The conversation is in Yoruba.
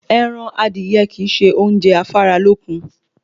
Ẹran adìye kìí se oúnjẹ afáralókun